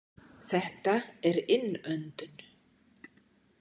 Þetta er innöndun.